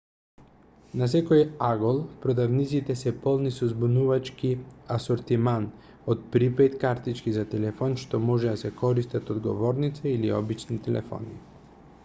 на секој агол продавниците се полни со збунувачки асортиман од припејд картички за телефон што можат да се користат од говорници или обични телефони